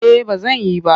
Eh ba zan yi ba.